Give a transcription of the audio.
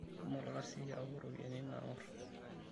Shomo olkasi yau ropiyiani naang'orr.